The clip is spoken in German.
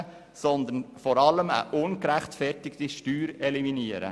Vielmehr soll das vor allem eine ungerechtfertigte Steuer eliminieren.